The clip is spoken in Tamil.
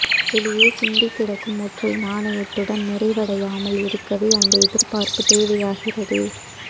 வெளியே சிந்திக்கிடக்கும் ஒற்றை நாணயத்துடன் நிறைவடையாமல் இருக்கவே அந்த எதிர்பார்ப்பு தேவையாகிறது